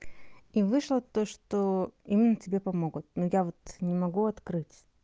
и вышло то что им тебе помогут но я вот не могу открыть